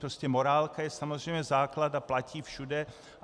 Prostě morálka je samozřejmě základ a platí všude.